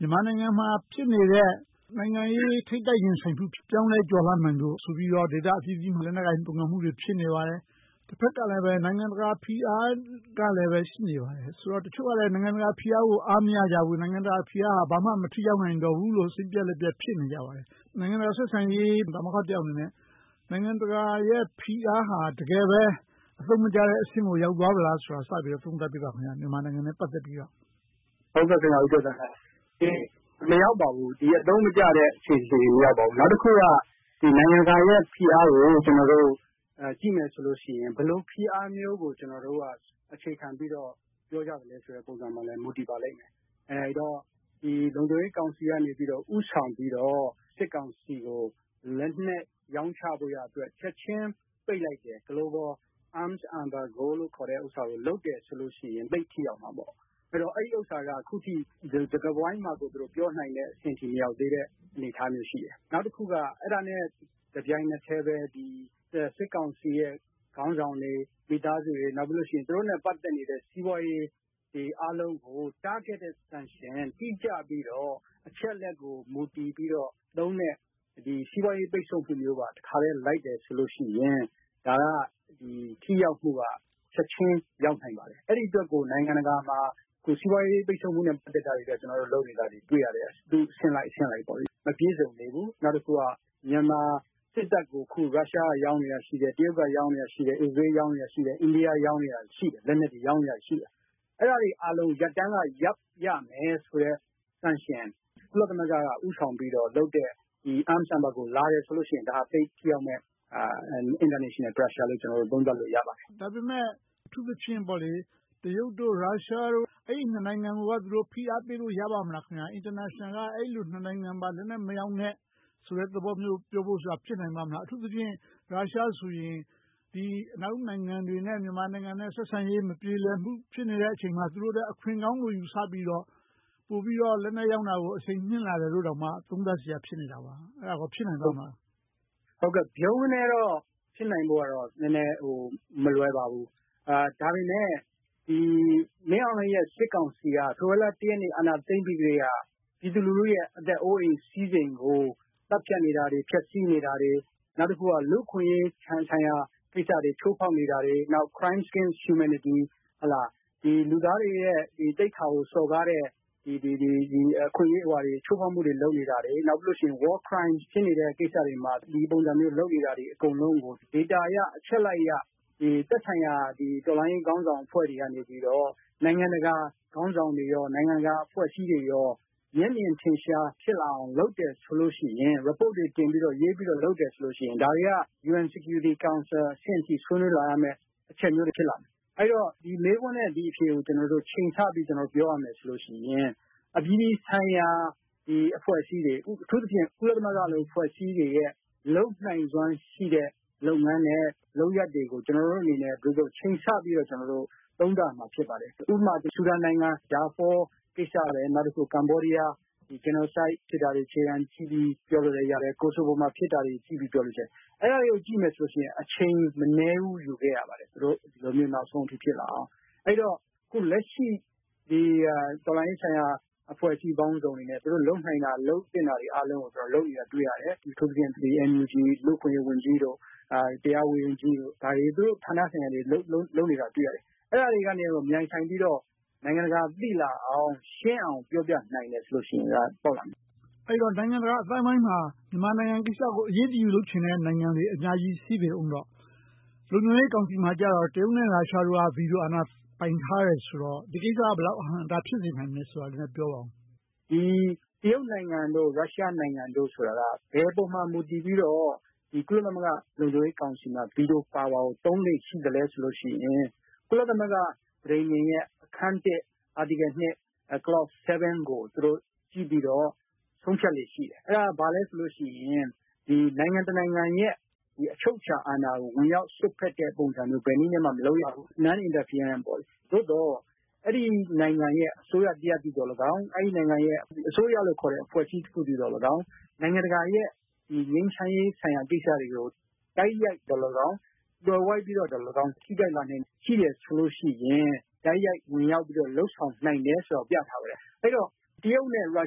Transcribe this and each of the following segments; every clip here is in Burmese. ြန်မာနိုင်ငံမှာ ဖြစ်နေတဲ့ နိုင်ငံရေး ထိပ်တိုက်ရင်ဆိုင်မှု ပြောင်းလဲကျော်လွှာနိုင်မှုဆိုပြီးတော့ ဒေသအသီးသီးမှာ လက်နက်ကိုင်ပုန်ကန်မှုတွေ ဖြစ်နေပါတယ်။ တဘက်ကလဲ နိုင်ငံတကာဖိအားကလည်း ရှိနေပါတယ်ဆိုတော့၊ တချို့ကလဲ နိုင်ငံတကာဖိအားကို အားမရကြဘူး။ နိုင်ငံတကာဖိအားက ဘာမှမထိရောက်နိုင်တော့ဘူးလို့ စိတ်ပျက်လက်ပျက် ဖြစ်နေကြပါတယ်။ နိုင်ငံတကာဆက်ဆံရေး ပါမောက္ခတယောက်အနေနဲ့ နိုင်ငံတကာရဲ့ ဖိအားဟာ တကယ်ပဲ အသုံးမကျတဲ့အဆင့်ကို ရောက်သွားပြီလားဆိုတာကို မြန်မာနိုင်ငံနဲ့ ပတ်သက်ပြီးတော့ စပြီးသုံးသပ်ပေးပါ။ မရောက်ပါဘူး။ အသုံးမကျတဲ့ အခြေအနေကို မရောက်ပါဘူး။ နောက်တခုက နိုင်ငံတကာရဲ့ဖိအားကို ကျနော်တို့ ကြည့်မယ်ဆိုရင် ဘယ်လိုဖိအားမျိုးကို ကျနော်တို့က အခြေခံပြီးတော့ ပြောကြသလဲဆိုတဲ့ပေါ် အခြေခံပြီးတော့ မူတည်ပါလိမ့်မယ်။ အဲဒီတော့ လုံခြုံရေးကောင်စီကနေ ဦးဆောင်ပြီးတော့ စစ်ကောင်စီကို လက်နက်ရောင်းချဖို့ရာအတွက် ချက်ချင်းပိတ်လိုက်တယ်။ Global Arms Embargo လို့ခေါ်တဲ့ဟာကို လုပ်တယ်ဆိုလို့ရှိရင် သိပ်ထိရောက်မှာပေါ့။ အဲဒါက အခုထိ စကားဝိုင်းမှာ ပြောနိုင်တဲ့အဆင့်အထိ မရောက်သေးတဲ့ အနေအထားမျိုး ရှိတယ်။ နောက်တခုက အဲဒါနဲ့ တပြိုင်နက်ထဲပဲ စစ်ကောင်စီရဲ့ ခေါင်းဆောင်တွေ၊ မိသားစုဝင်တွေ။ နောက်ပြီးတော့ သူတို့နဲ့ ပတ်သက်နေတဲ့ စီးပွားရေးအားလုံးကို targeted sanction တိကျပြီးတော့ အချက်အလက်ကို မူတည်ပြီးတော့လုပ်မယ့် စီးပွားရေးပိတ်စို့မှုမျိုးပါ တခါတည်းလိုက်တယ်ဆိုရင် ထိရောက်မှုက ချက်ချင်းရောက်နိုင်ပါတယ်။ အဲဒီအတွက်ကို နိုင်ငံတကာမှာ စီးပွားရေးပိတ်စို့မှုတွေကို လုပ်နေတာတွေ တွေ့ရတယ်။ သူ့အဆင့်လိုက်အဆင့်လိုက်ပေါ့။ ဒါပေမဲ့ မပြည့်စုံသေးဘူး။ နောက်တခုက မြန်မာစစ်တပ်ကို ရုရှားက လက်နက်ရောင်းနေတာ ရှိတယ်။ တရုတ်က ရောင်းနေတာ ရှိတယ်။ အစ္စရေးလ်က၊ အိန္ဒိယ ရောင်းနေတာ ရှိတယ်။ အဲဒါတွေအားလုံး ရပ်တန့်ကရပ်ရမယ်ဆိုတဲ့ sanction ကို ကုလသမဂ္ဂက ဦးဆောင်ပြီးတော့လုပ်တဲ့ Arm Embargo လာတယ်ဆိုရင်တော့ သိပ်ထိရောက်တဲ့ International Pressure လို့ ကျနော်တို့ သုံးသပ်လို့ ရပါတယ်။ ဒါပေမဲ့ အထူးသဖြင့်တော့ တရုတ်၊ ရုရှားတို့ အဲဒီ့နှစ်နိုင်ငံကို ဖိအားပေးလို့ ရပါ့မလား။ နိုင်ငံတကာက အဲဒီနှစ်နိုင်ငံကို လက်နက်မရောင်းနဲ့ ဆိုတဲ့သဘောမျိုး ပြောဖို့ဆိုတာ ဖြစ်နိုင်ပါ့မလား။ အထူးသဖြင့် ရုရှားဆိုရင် အနောက်နိုင်ငံတွေနဲ့ မြန်မာနိုင်ငံ ဆက်ဆံရေးမပြေလည်မှု ဖြစ်နေတဲ့အချိန်မှာ သူတို့အတွက် အခွင့်ကောင်းလို့ ယူဆပြီးတော့ ပိုပြီးတော့ လက်နက်ရောင်းတာကို အရှိန်မြှင့်လာတယ်လို့ သုံးသပ်စရာ ဖြစ်နေတာပါ။ အဲဒါကော ဖြစ်နိုင်ပါ့မလား။ ဗြုန်းကနဲ ဖြစ်နိုင်ဖို့ကတော့ မလွယ်ပါဘူး။ ဒါပေမဲ့ မင်းအောင်လှိုင်ရဲ့ စစ်ကောင်စီက ဖေဖေါ်ဝါရီလ ရက်နေ့ အာဏာသိမ်းပြီးကတည်းက ပြည်သူလူထုရဲ့ အသက်အိုးအိမ်စည်စိမ်ကို သတ်ဖြတ်နေတာတွေ၊ ဖျက်ဆီးနေတာတွေ၊ နောက်တခုက လူ့အခွင့်အရေးဆိုင်ရာကိစ္စတွေ ချိုးဖောက်နေတာတွေ၊ နောက် crimes, humanities လူသားတွေရဲ့သိက္ခာကို စော်ကားတဲ့ အခွင့်အရေး ချိုးဖောက်မှုတွေ လုပ်နေတာတွေ၊ နောက်ပြီးတော့ war crimes စစ်ရေးရာဇဝတ်မှုတွေ ချိုးဖောက်မှုတွေ လုပ်နေတာတွေကို အချက်အလက်အရ သက်ဆိုင်ရာ တော်လှန်ရေးခေါင်းဆောင်တွေက နိုင်ငံတကာခေါင်းဆောင်တွေ၊ နိုင်ငံတကာအဖွဲ့အစည်းတွေ မျက်မြင်ထင်ရှား ဖြစ်လာအောင် လုပ်တယ်ဆိုလို့ရှိရင် reports တွေ တင်ပြီးတော့၊ ရေးပြီးတော့ လုပ်တယ်ဆိုလို့ရှိရင် ဒါတွေက UN Security Council အဆင့်အထိ ဆွေးနွေးလာရမယ့်အချက်မျိုး ဖြစ်လာမယ်။ အဲဒီတော့ ဒီမေးခွန်းနဲ့ အဖြေကို ချိန်ဆပြီးတော့ ပြောရမယ်ဆိုလို့ရှိရင် အပြည်ပြည်ဆိုင်ရာအဖွဲ့အစည်းတွေ၊ အထူးသဖြင့် ကုလသမဂ္ဂလို အဖွဲ့အစည်းတွေရဲ့ လုပ်နိုင်စွမ်းရှိတဲ့ လုပ်ငန်းနဲ့လုပ်ရပ်တွေကို ကျနော်တို့အနေနဲ့ ချိန်ဆပြီးတော့ ကျနော်တို့ သုံးသပ်ရမှာ ဖြစ်ပါတယ်။ ဥပမာ ဆူဒန်နိုင်ငံ ဒါဖောကိစ္စ။ နောက်တခါ ကမ္ဘောဒီးယား Genocide ဖြစ်တာတွေ အခြေခံပြီးတော့ ပြောလို့ရတယ်။ Kosovo မှာ ဖြစ်တာတွေကိုကြည့်ပြီးတော့လည်း ပြောနိုင်တယ်။ အဲဒါတွေကို ကြည့်မယ်ဆိုရင် အချိန်မနည်းဘူး ယူခဲ့ရပါတယ်။ ဒီလိုမျိုး နောက်ဆုံးအထိ ဖြစ်လာအောင်။ အဲဒီတော့ လက်ရှိတော်လှန်ရေးဆိုင်ရာ အဖွဲ့အစည်းပေါင်းစုံအနေနဲ့ သူတို့လုပ်နိုင်တာ၊ လုပ်သင့်တာတွေအားလုံးကို လုပ်နေတာ တွေ့ရတယ်။ အထူးသဖြင့် NUG လူ့အခွင့်အရေးဝန်ကြီး၊ တရားရေးရာဝန်ကြီးတို့ရဲ့ ဌာနဆိုင်ရာတွေ လုပ်နေတာတွေကို တွေ့ရတယ်။ အဲဒါတွေက မြိုင်ဆိုင်ပြီးတော့ နိုင်ငံတကာသိလာအောင်၊ ရှင်းအောင်ပြောပြနိုင်တယ်ဆိုရင် ထိရောက်လာမယ်။ အဲဒီတော့ နိုင်ငံတကာအသိုင်းအဝိုင်းမှာ မြန်မာနိုင်ငံကိစ္စကို အရေးတယူလုပ်ချင်တဲ့ နိုင်ငံတွေအများကြီး ရှိပေအုံးပေါ့ လုံခြုံရေးကောင်စီမှာကြတော့ တရုတ်၊ ရုရှားတို့က ဗီတိုအာဏာ ပိုင်ထားတယ်ဆိုတော့ ဒီကိစ္စက ဘယ်လောက်အဟန့်အတား ဖြစ်စေနိုင်မယ်ဆိုတာကိုလည်း ပြောပါအုံး။ တရုတ်နိုင်ငံ၊ ရုရှားနိုင်ငံတို့ဆိုတာက ဘယ်အပေါ်မှာ မူတည်ပြီးတော့ ကုလသမဂ္ဂ လုံခြုံရေးကောင်စီမှာ ဗီတိုအာဏာ ကို သုံးလေ့ရှိသလဲဆိုရင် ကုလသမဂ္ဂ ပဋိညာဉ်ရဲ့ အခန်း Article, Clause ကို ကြည့်ပြီးတော့ ဆုံးဖြတ်လေ့ ရှိတယ်။ အဲဒါဘာလဲဆိုတော့ နိုင်ငံတနိုင်ငံရဲ့ အချုပ်အခြာအာဏာကို ဝင်ရောက်စွက်ဖက်တဲ့ ပုံစံမျိုး ဘယ်နည်းနဲ့မှ မလုပ်ရဘူး - Non-interference. သို့သော် အဲဒီနိုင်ငံရဲ့ အစိုးရတရပ်သည်လည်းကောင်း၊ အဲဒီနိုင်ငံရဲ့ အစိုးရလို့ခေါ်တဲ့ အဖွဲ့အစည်းတခုသည်လည်းကောင်း နိုင်ငံတကာရဲ့ ငြိမ်းချမ်းရေးကိစ္စရပ်တွေကို တိုက်ရိုက်သော်လည်းကောင်း၊ သွယ်ဝိုက်ပြီးသော်လည်းကောင်း ထိခိုက်လာနိုင်စရာ ရှိလာတယ်ဆိုရင် တိုက်ရိုက်ဝင်ရောက်ပြီးတော့ လုပ်ဆောင်နိုင်တယ်ဆိုတာကို ပြဌာန်းထားတယ်။ အဲဒီတော့ တရုတ်နဲ့ ရု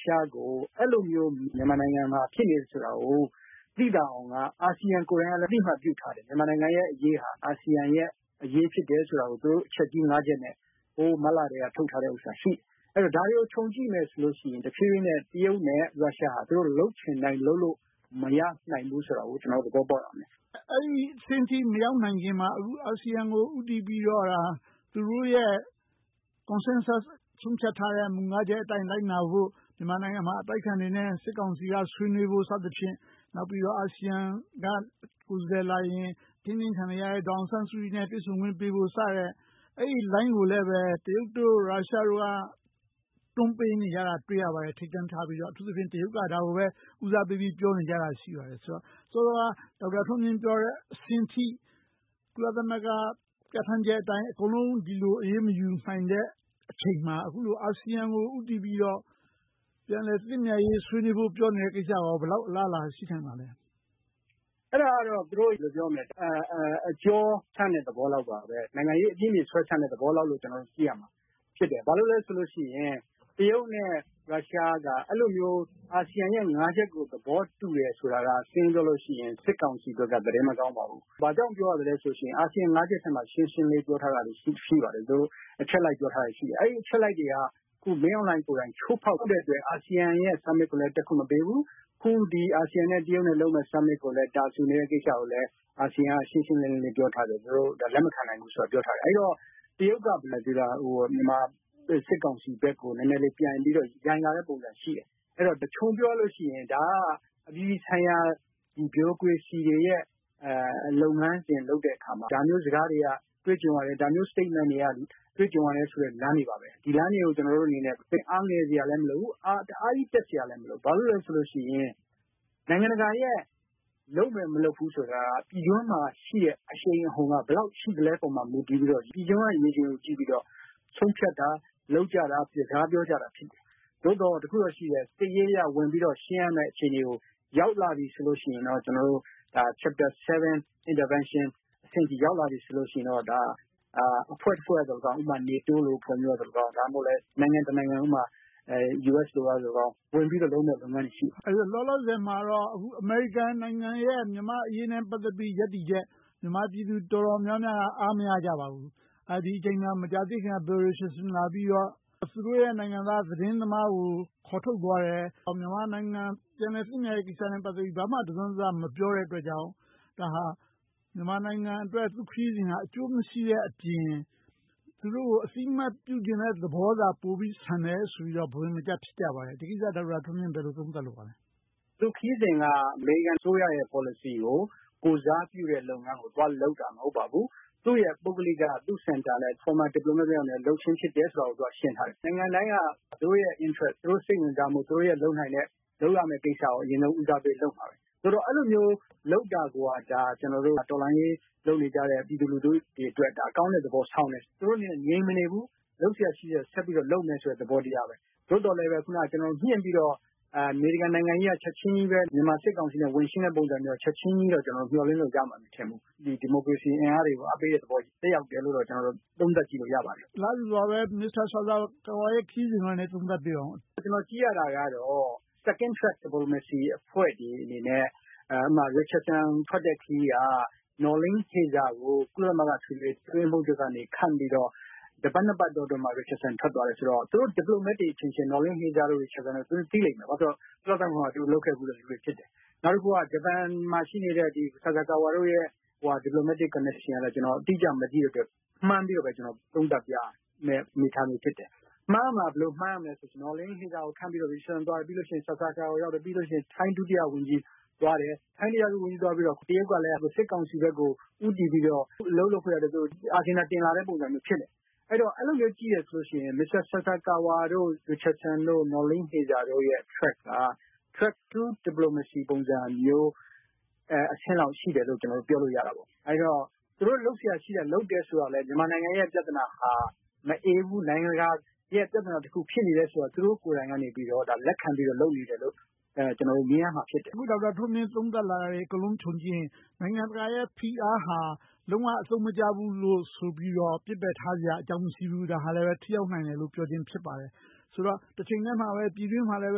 ရှားကို အဲဒီလို မြန်မာနိုင်ငံမှာ ဖြစ်နေတယ်ဆိုတာကို သိသာအောင်က ASEAN ကိုယ်တိုင်က အသိအမှတ် ပြုထားတယ်။ မြန်မာနိုင်ငံရဲ့ အရေးဟာ အာဆီယံရဲ့အရေး ဖြစ်တယ်ဆိုတာကို အချက်ကြီး ချက်နဲ့ မတ်လကတည်းက ထုတ်ထားတာ ရှိတယ်။ အဲဒီတော့ ဒါတွေကို ခြုံကြည့်မယ်ဆိုရင် တဖြည်းဖြည်းနဲ့ တရုတ်နဲ့ ရုရှားက သူတို့လုပ်ချင်တိုင်း လုပ်လို့မရနိုင်ဘူးဆိုတာကို ကျနော်တို့ သဘောပေါက်ရမယ်။ အဲဒီအဆင့်အထိ မရောက်နိုင်ခင်မှာ အာဆီယံကို ဦးတည်ပြီးတော့ သူတို့ရဲ့ consensus ဆုံးဖြတ်ထားတဲ့ မူ ချက်အတိုင်း လိုက်နာဖို့၊ မြန်မာနိုင်ငံမှာ အတိုက်အခံတွေနဲ့ စစ်ကောင်စီက ဆွေးနွေးဖို့ စသည်ဖြင့်၊ နောက်ပြီးတော့ အာဆီယံက ကိုယ်စားလှယ်လာရင် ထိန်းသိမ်းခံနေရတဲ့ ဒေါ်အောင်ဆန်းစုကြည်နဲ့ တွေ့ဆုံခွင့်ပေးဖို့ စတဲ့ အဲဒီလိုင်းကိုလည်း တရုတ်၊ ရုရှားတို့က တွန်းပေးနေကြတာ တွေ့ရပါတယ်။ ထိပ်တန်းထားပြီးတော့။ အထူးသဖြင့် တရုတ်က ဒါကိုပဲ ဦးစားပေးပြီးတော့ ပြောနေကြတာ ရှိပါတယ်ဆိုတော့ စောစောက ဒေါက်တာထွန်းမြင့်ပြောတဲ့အဆင့်အထိ ကုလသမဂ္ဂ ပြဌာန်းချက်အတိုင်း အကုန်လုံး ဒီလိုအရေးမယူနိုင်သေးတဲ့အချိန်မှာ အာဆီယံကို ဦးတည်ပြီးတော့ ပြန်လည်သင့်မြတ်ရေး ဆွေးနွေးဖို့ ပြောနေတဲ့ကိစ္စက ဘယ်လောက်အလားအလာ ရှိနိုင်ပါသလဲ။ အဲဒါကတော့ သူတို့အကြောဆန့်သလောက်ပါပဲ။ နိုင်ငံရေးအပြင်ပြေ ဆွဲဆန့်သလောက်ပါပဲလို့ ကျနော်တို့ ကြည့်ရမှာ ဖြစ်တယ်။ ဘာလို့လဲဆိုရင် တရုတ်နဲ့ ရုရှားတို့က အဲဒီလိုမျိုး အာဆီယံရဲ့ ချက်ကို သဘောတူတယ်ဆိုတာက ရှင်းရှင်းပြောရရင် စစ်ကောင်စီအတွက် သတင်းမကောင်းပါဘူး။ ဘာကြောင့် ပြောရသလဲဆိုရင် အာဆီယံ ချက်ထဲမှာ ရှင်းရှင်းလင်းလင်း ပြောထားတာတွေ ရှိပါတယ်။ အချက်လိုက် ပြောထားတာတွေ ရှိတယ်။ အဲဒီအချက်တွေကို မင်းအောင်လှိုင်ကိုယ်တိုင် ချိုးဖောက်နေတဲ့အတွက် အာဆီယံထိပ်သီးအစည်းအဝေး ASEAN Summit ကိုလည်း တက်ခွင့်မပေးဘူး။ အခု အာဆီယံနဲ့ တရုတ် လုပ်တဲ့ အစည်းအဝေးကိုလည်း အာဆီယံက ရှင်းရှင်းလင်းလင်း ပြောထားတယ်။ သူတို့ လက်မခံနိုင်ဘူးဆိုတာ။ အဲဒီတော့ တရုတ်က မြန်မာစစ်ကောင်စီဘက်ကို နည်းနည်းပြန်ပြီးတော့ ယိုင်းလာတဲ့ပုံစံ ရှိတယ်။ အဲဒါကို ခြုံပြောရရင် ဒါကတော့ အပြည်ပြည်ဆိုင်ရာ ဗျူရိုကရေစီတွေရဲ့ လုပ်ငန်းစဉ်တွေ လုပ်တဲ့အခါမှာ ဒါမျိုးစကားတွေက တွေ့ကြုံရတယ်။ ဒါမျိုးထုတ်ပြန်ချက်တွေကို တွေ့ကြုံရတယ်ဆိုတဲ့ လမ်းတွေပါ။ ဒီလမ်းတွေကိုကြည့်ပြီး ကျနော်တို့အနေနဲ့ အားငယ်စရာလည်း မလိုဘူး။ တအားကြီးအားတက်စရာလဲ မလိုဘူး။ ဘာဖြစ်လို့လဲဆိုတော့ နိုင်ငံတကာရဲ့ လုပ်မယ်မလုပ်ဘူးဆိုတာက ပြည်တွင်းမှာရှိတဲ့ အရှိန်အဟုန်က ဘယ်လောက်အထိ ရှိသလဲဆိုတာပေါ် မူတည်ပြီးတော့၊ ပြည်တွင်းက ရေချိန်ကို ကြည့်ပြီးတော့ ဆုံးဖြတ်တာ၊ လုပ်ကြတာ ဖြစ်တယ်။ စကားပြောကြတာ ဖြစ်တယ်။ သို့သော် တခုတော့ရှိတယ် - စစ်ရေးအရ ဝင်ရောက်ရမယ့် အခြေအနေကို ရောက်လာပြီဆိုရင်တော့ Chapter Intervention အဆင့်အထိ ရောက်လာပြီဆိုရင်တော့ အဖွဲ့တဖွဲ့ကသော်လည်းကောင်း - ဥပမာ NATO လို အဖွဲ့မျိုး၊ ဒါမှမဟုတ် နိုင်ငံတနိုင်ငံ - ဥပမာ US လိုမျိုး ဝင်ပြီးတော့ လုပ်ကြမယ့်လုပ်ငန်းတွေ ရှိပါတယ်။ အခုလောလောဆယ်မှာတော့ အမေရိကန်နိုင်ငံရဲ့ မြန်မာ့အရေးနဲ့ ပတ်သက်ပြီး ရပ်တည်ချက်၊ မြန်မာပြည်သူ တော်တော်များများက အားမရကြပါဘူး။ ဒီအချိန်မှာ မကြာသေးခင်က Bill Richardson လာပြီးတော့ သူတို့ရဲ့ နိုင်ငံသား သတင်းသမားကို ခေါ်ထုတ်သွားတယ်။ မြန်မာနိုင်ငံ ပြန်လည်သင့်မြတ်ရေးကိစ္စနဲ့ ပတ်သက်ပြီးတော့ ဘာမှတစွန်းတစ မပြောတဲ့အတွက်ကြောင့် ဒါဟာ မြန်မာနိုင်ငံအတွက် သူ့ခရီးစဉ်က အကျိုးမရှိတဲ့အပြင်၊ စစ်ကောင်စီကို အသိအမှတ်ပြုချင်တဲ့သဘောသာ ပိုပြီးဆန်တယ်လို့ ဘဝင်မကျ ဖြစ်ကြပါတယ်။ ဒီကိစ္စကို ဒေါက်တာထွန်းမြင့် ဘယ်လိုသုံးသပ်လိုပါသလဲ။ သူ့ခရီးစဉ်က အမေရိကန်အစိုးရရဲ့ ပေါ်လစီကို ကိုယ်စားပြုတဲ့ လုပ်ငန်းကို သွားလုပ်တာ မဟုတ်ပါဘူး။ သူ့ရဲ့ ပုဂ္ဂလိက၊ သူ့ Center – Former Diplomat တယောက်အနေနဲ့ လုပ်ခြင်းဖြစ်တယ်ဆိုတာက သူက ရှင်းထားတယ်။ နိုင်ငံတိုင်းက သူတို့ရဲ့ interest စိတ်ဝင်စားမှု၊ သူတို့ လုပ်နိုင်တဲ့၊ လုပ်ရမယ့်ကိစ္စကို အရင်ဆုံးဦးစားပေး လုပ်မှာပဲ။ အဲဒီလို လုပ်တာကိုက ကျနော်တို့ တော်လှန်ရေး လုပ်နေကြတဲ့ ပြည်သူလူထုအတွက် ကောင်းတဲ့သဘောဆောင်တယ်။ သူတို့အနေနဲ့ ငြိမ်မနေဘူး။ လုပ်စရာရှိတာကို လုပ်နေမယ်ဆိုတဲ့ သဘောတရားပဲ။ သို့သော်လဲပဲ အခုန ကျနော်မြှင့်ပြီးတော့ အမေရိကန်နိုင်ငံကြီးက ချက်ချင်းပဲ မြန်မာစစ်ကောင်စီကို ဝင်ရှင်းတဲ့ပုံစံမျိုးကို ချက်ချင်းကြီး မျှော်လင့်လို့ မရဘူး။ ဒီမိုကရေစီအင်အားတွေကို အားပေးတဲ့သဘောမျိုး သက်ရောက်တယ်လို့ပဲ သုံးသပ်ကြည့်လို့ ရပါတယ်။ အလားတူစွာပဲ မစ္စတာဆာဆာကာဝါရဲ့ ခရီးစဉ်ကိုလည်း သုံးသပ်ပေးပါအုံး။ ကြည့်ရတာကတော့ Second Track Diplomacy အဖွဲ့တွေအနေနဲ့ - ဥပမာ Richardson ထွက်တဲ့ ခရီးက Noeleen Heyzer ကို ကုလသမဂ္ဂ အထွေထွေအတွင်းရေးမှူးချုပ်က ခန့်ပြီးတော့ တပတ်နှစ်ပတ်အတွင်းမှာ Richardson ထွက်သွားတယ်ဆိုတော့ သူတို့ Diplomats တွေ အချင်းချင်း၊ နော်လင်းဟေဇာတို့ ရစ်ချက်ဆင်တို့ သိလိမ့်မယ်။ သူတို့ ကုလသမဂ္ဂမှာအတူတူ လုပ်ခဲ့ဖူးတဲ့လူတွေ ဖြစ်တယ်။ နောက်တခုက ဂျပန်မှာ ရှိနေတဲ့ ဆာဆာကာဝါတို့ရဲ့ Diplomatic Connection ကို အတိအကျ မသိတဲ့အတွက် မှန်းဆပြီးတော့ပဲ သုံးသပ်ပြရမယ့် အနေအထားမျိုး ဖြစ်တယ်။ မှန်းရမှာ ဘယ်လိုလဲဆိုတော့ နော်လင်းဟေဇာကို ခန့်ပြီးတော့၊ ရစ်ချက်ဆင် သွားပြီးတော့ ဆာဆာကာဝါ ရောက်တယ်။ နောက် ထိုင်း ဒုတိယဝန်ကြီးသွားတယ်။ ထိုင်းဝန်ကြီးသွားပြီးတော့ တရုတ်ကလည်း စစ်ကောင်စီဘက်ကို ဦးတည်ပြီးတော့ အလုပ်လုပ်ဖို့အတွက် Agenda တင်လာတဲ့ပုံစံမျိုး ဖြစ်တယ်။ အဲဒီတော့ အဲဒီလိုမျိုး ကြည့်တယ်ဆိုလို့ရှိရင် မစ္စတာဆာဆာကာဝါ၊ ရစ်ချက်ဆင်၊ နော်လင်းဟေဇာတို့ရဲ့ Track က Track 2 Diplomacy မျိုး အဆင့်လောက် ရှိတယ်လို့ ကျနော်တို့ ပြောလို့ရတာပေါ့။ အဲဒီတော့ သူတို့လုပ်စရာရှိတာကို လုပ်နေတယ်ဆိုတာကိုလည်း မြန်မာနိုင်ငံရဲ့ ပြဿနာဟာ မအေးဘူး၊ နိုင်ငံတကာရဲ့ ပြဿနာတခု ဖြစ်နေတယ်ဆိုတာကို သူတို့ကိုယ်တိုင်ကနေ လက်ခံပြီးတော့ လုပ်နေတယ်လို့ ကျနော်တို့ မြင်ရမှာဖြစ်တယ်။ အခု ဒေါက်တာထွန်းမြင့် သုံးသပ်လာတာတွေ အကုန်လုံးကို ခြုံကြည့်ရင် နိုင်ငံတကာရဲ့ ဖိအားဟာ လုံးဝအသုံးမကျဘူးလို့ဆိုပြီးတော့ ပစ်ပယ်ထားစရာ အကြောင်းမရှိဘူး။ ဒါဟာလဲ ထိရောက်နိုင်ခြင်း ဖြစ်တယ်လို့ ပြောခြင်းဖြစ်ပါတယ်။ ဆိုတော့ တချိန်တည်းမှာပဲ ပြည်တွင်းမှာလည်း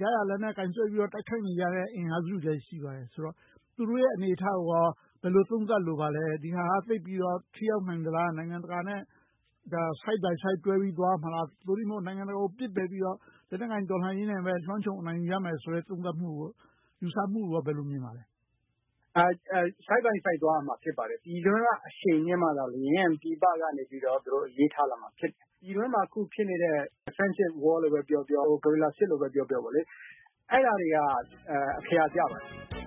ရရာလက်နက် ကိုင်စွဲပြီးတော့ တိုက်ခိုက်နေကြတဲ့ အင်အားစုတွေလည်း ရှိပါတယ်ဆိုတော့ သူတို့ရဲ့ အနေအထားကိုကော ဘယ်လိုသုံးသပ်လိုပါသလဲ။ ဒီဟာက သိပ်ပြီးတော့ ထိရောက်နိုင်သလား။ နိုင်ငံတကာနဲ့ Side-by-Side တွဲပြီး သွားရမလား။ သို့တည်းမဟုတ် နိုင်ငံတကာကို ပစ်ပယ်ပြီးတော့ လက်နက်ကိုင် တော်လှန်ရေးနဲ့ပဲ လွှမ်းခြုံနိုင်ကြမယ်ဆိုတဲ့ သုံးသပ်မှု၊ ယူဆမှုကို ဘယ်လိုမြင်ပါသလဲ။ Side-by-Side သွားရမှာ ဖြစ်ပါတယ်။ ပြည်တွင်းက အရှိန်မြှင့်မှသာလျှင် ပြည်ပကနေ အရေးထားလာမှာ ဖြစ်တယ်။ ပြည်တွင်းမှာ အခုဖြစ်နေတဲ့ Defensive War လို့ပဲပြောပြော၊ Guerrilla စစ်လို့ပဲပြောပြော အဲဒါတွေက အခရာကျပါတယ်